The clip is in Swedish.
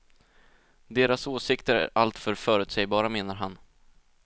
Deras åsikter är allför förutsägbara, menar han.